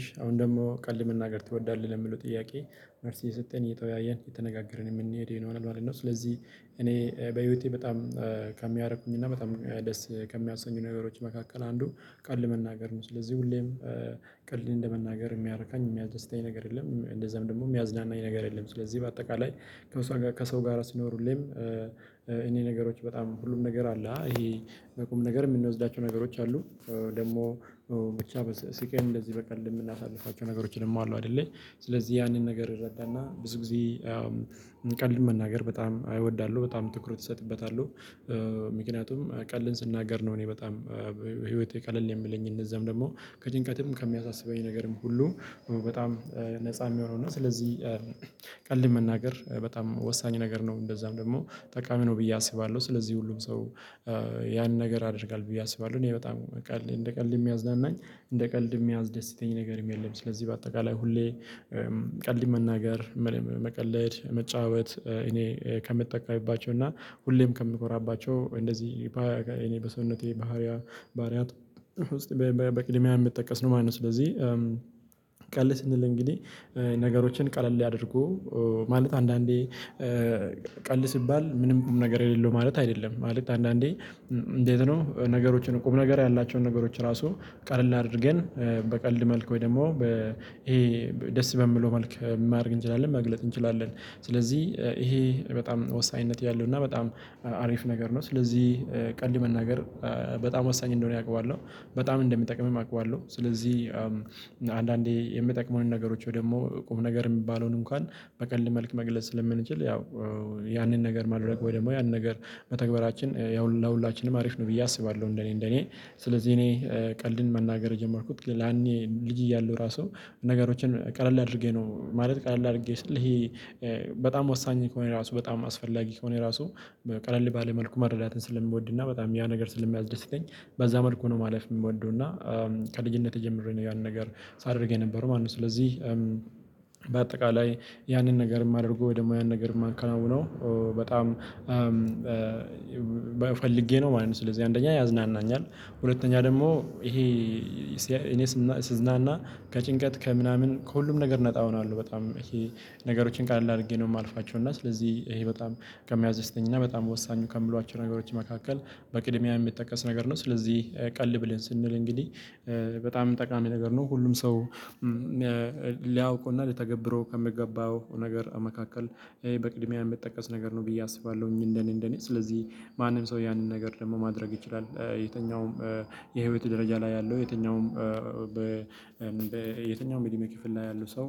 እሺ አሁን ደግሞ ቀልድ መናገር ትወዳለህ ለሚለው ጥያቄ መልስ እየሰጠን እየተወያየን የተነጋገርን የምንሄድ ይሆናል ማለት ነው። ስለዚህ እኔ በህይወቴ በጣም ከሚያረኩኝና በጣም ደስ ከሚያሰኙኝ ነገሮች መካከል አንዱ ቀልድ መናገር ነው። ስለዚህ ሁሌም ቀልድ እንደመናገር የሚያረካኝ የሚያስደተኝ ነገር የለም እንደዛም ደግሞ የሚያዝናናኝ ነገር የለም። ስለዚህ በአጠቃላይ ከሰው ጋር ከሰው ጋር ስኖር ሁሌም እኔ ነገሮች በጣም ሁሉም ነገር አለ ይሄ በቁም ነገር የምንወስዳቸው ነገሮች አሉ። ደግሞ ብቻ ስቀን እንደዚህ በቀልድ የምናሳልፋቸው ነገሮችንም ደሞ አሉ አደለ። ስለዚህ ያንን ነገር እረዳና ብዙ ጊዜ ቀልድ መናገር በጣም አይወዳሎ በጣም ትኩረት እሰጥበታለሁ። ምክንያቱም ቀልድን ስናገር ነው እኔ በጣም ህይወቴ ቀለል የምለኝ እነዛም ደግሞ ከጭንቀትም ከሚያሳስበኝ ነገርም ሁሉ በጣም ነፃ የሚሆነው እና ስለዚህ ቀልድ መናገር በጣም ወሳኝ ነገር ነው። እንደዛም ደግሞ ጠቃሚ ነው ብዬ አስባለሁ። ስለዚህ ሁሉም ሰው ያንን ነገር ያደርጋል ብዬ አስባለሁ። እኔ በጣም ቀልድ እንደ ቀልድ የሚያዝናናኝ እንደ ቀልድ የሚያስደስተኛ ነገርም የለም። ስለዚህ በአጠቃላይ ሁሌ ቀልድ መናገር መቀለድ መጫወት እኔ ከምጠቀምባቸው እና ሁሌም ከምንኮራባቸው እንደዚህ እኔ በሰውነቴ ባህሪያ ባህሪያት ውስጥ በቅድሚያ የምጠቀስ ነው። ማለት ነው። ስለዚህ ቀልድ ስንል እንግዲህ ነገሮችን ቀለል አድርጎ ማለት አንዳንዴ ቀልድ ሲባል ምንም ቁም ነገር የሌለው ማለት አይደለም። ማለት አንዳንዴ እንዴት ነው? ነገሮችን ቁም ነገር ያላቸውን ነገሮች ራሱ ቀለል አድርገን በቀልድ መልክ ወይ ደግሞ ይሄ ደስ በምለው መልኩ ማድረግ እንችላለን መግለጥ እንችላለን። ስለዚህ ይሄ በጣም ወሳኝነት ያለው እና በጣም አሪፍ ነገር ነው። ስለዚህ ቀልድ መናገር በጣም ወሳኝ እንደሆነ አውቃለሁ በጣም እንደሚጠቅምም አውቃለሁ። ስለዚህ አንዳንዴ የምጠቅመውን ነገሮች ወይ ደግሞ ቁም ነገር የሚባለውን እንኳን በቀልድ መልክ መግለጽ ስለምንችል ያው ያንን ነገር ማድረግ ወይ ደግሞ ያንን ነገር መተግበራችን ያው ለሁላችንም አሪፍ ነው። ብዬ አስባለሁ እንደኔ እንደኔ ስለዚህ እኔ ቀልድን መናገር የጀመርኩት ላኔ ልጅ እያለሁ ራሱ ነገሮችን ቀለል አድርጌ ነው። ማለት ቀለል አድርጌ ስል ይሄ በጣም ወሳኝ ከሆነ ራሱ በጣም አስፈላጊ ከሆነ ራሱ ቀለል ባለ መልኩ መረዳትን ስለምወድና በጣም ያ ነገር ስለሚያዝደስተኝ በዛ መልኩ ነው ማለፍ የምወደው። እና ከልጅነቴ ጀምሬ ነው ያን ነገር ሳደርግ የነበረው ማለት ነው። ስለዚህ በአጠቃላይ ያንን ነገር የማደርገው ወይ ደግሞ ያን ነገር የማከናውነው በጣም ፈልጌ ነው ማለት ነው። ስለዚህ አንደኛ ያዝናናኛል። ሁለተኛ ደግሞ ይሄ እኔ ስዝናና ከጭንቀት ከምናምን ከሁሉም ነገር ነፃ ሆኗለው በጣም ይሄ ነገሮችን ቀለል አድርጌ ነው የማልፋቸው እና ስለዚህ ይሄ በጣም ከሚያዝተኝና በጣም ወሳኙ ከምሏቸው ነገሮች መካከል በቅድሚያ የሚጠቀስ ነገር ነው። ስለዚህ ቀልድ ብለን ስንል እንግዲህ በጣም ጠቃሚ ነገር ነው። ሁሉም ሰው ሊያውቁና ሊተገብረው ከምገባው ነገር መካከል ይሄ በቅድሚያ የምጠቀስ ነገር ነው። ብዬ አስባለሁኝ እንደኔ እንደኔ ስለዚህ ማንም ሰው ያንን ነገር ደግሞ ማድረግ ይችላል። የትኛውም የህይወት ደረጃ ላይ ያለው የትኛውም በ በየትኛውም የእድሜ ክፍል ላይ ያለው ሰው